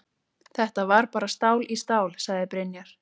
Þetta var bara stál í stál, sagði Brynjar.